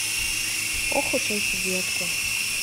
ох уж эти детки